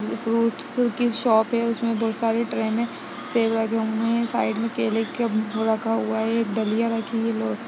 ये फ्रूट्स की शॉप है जिस में बोहोत सारे ट्रे में सेब रखे हुए हैं साइड में केले का वो रखा हुआ है | एक डलिया रखी हुई --